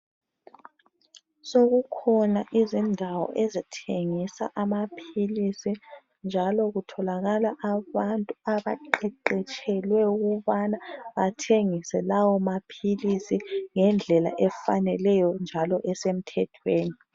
Sokukhona izindawo ezithengisa amaphilisi njalo kutholakala abantu abaqeqetshelwe ukubana bathengise lawo maphilisi ngendlela efaneleyo njalo esemthethweni.